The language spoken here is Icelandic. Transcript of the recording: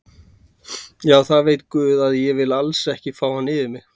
Já það veit guð að ég vil alls ekki fá hann yfir mig.